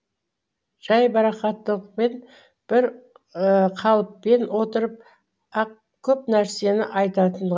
жайбарақаттықпен бір қалыппен отырып ақ көп нәрсені айтатын